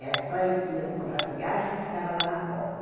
Era só eles que iam comprar cigarro e a gente ficava lá na porta.